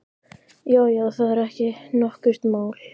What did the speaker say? Já, já, það er ekki nokkurt mál.